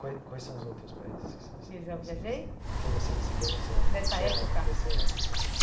Quai quais são os outros países que você. Que eu já viajei?. Que você visitou nessa nessa. Nessa época?. Desse ano?